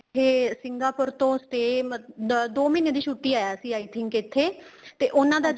ਇੱਥੇ Singapore ਤੋਂ stay ਦੋ ਮਹੀਨੇਂ ਦੀ ਛੁੱਟੀ ਆਇਆ ਸੀ I think ਇੱਥੇ ਤੇ ਉਹਨਾ ਦਾ